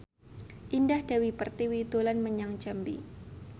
Indah Dewi Pertiwi dolan menyang Jambi